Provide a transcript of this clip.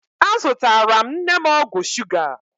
Azụtara m nne m ọgwụ shuga.